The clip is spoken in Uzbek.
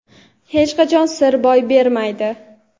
hech qachon sir boy bermaydi.